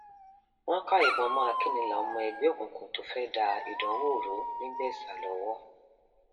wọn ká ìbọn mọ akínilà ọmọ ẹgbẹ òkùnkùn tó fẹẹ da ìdánwò rú nìgbésà lọwọ